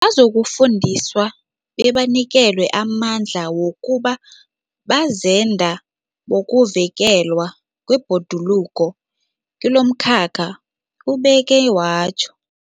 Bazokufundiswa bebanikelwe amandla wokuba bazenda bokuvikelwa kwebhoduluko kilomkhakha, ubeke watjho.